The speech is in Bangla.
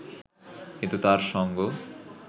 কিন্তু তাঁর সঙ্গ